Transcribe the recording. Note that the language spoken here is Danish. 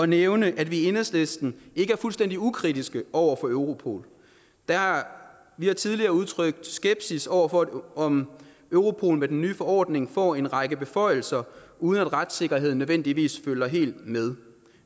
nævne at vi i enhedslisten ikke er fuldstændig ukritiske over for europol vi har tidligere udtrykt skepsis over for om europol med den nye forordning får en række beføjelser uden at retssikkerheden nødvendigvis følger helt med